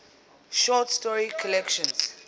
short story collections